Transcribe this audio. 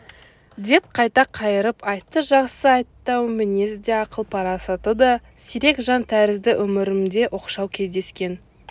деп қайта қайырып айтты жақсы айтты-ау мінезі де ақыл-парасаты да сирек жан тәрізді өмірімде оқшау кездескен